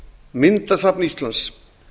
myndasafn íslands